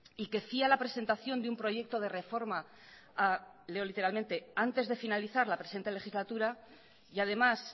y que fía la presentación de un proyecto de reforma a leo literalmente antes de finalizar la presente legislatura y además